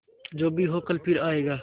जो भी हो कल फिर आएगा